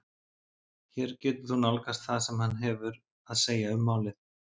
Hér getur þú nálgast það sem hann hefur að segja um málið.